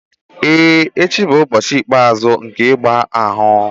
Ee, echi bụ ụbọchị ikpeazụ nke ịgba ahụ.